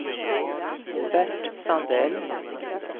Bert Sandell